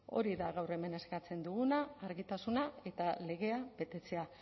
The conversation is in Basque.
hori da gaur hemen eskatzen duguna argitasuna eta legea betetzea